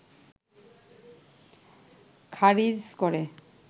খারিজ করে